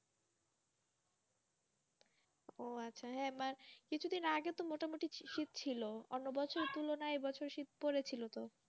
ও আচ্ছা মানে কিছুদিন আগে মোটামুটি শীত ছিল অন্য বছরের তুলনায় এ বছর শীত পড়েছিল তো?